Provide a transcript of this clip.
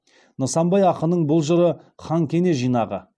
нысанбай ақыннын бұл жыры хан кене жинағы